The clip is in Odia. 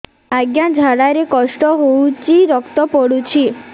ଅଜ୍ଞା ଝାଡା ରେ କଷ୍ଟ ହଉଚି ରକ୍ତ ପଡୁଛି